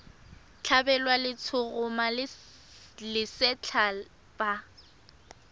tlhabelwa letshoroma le lesetlha fa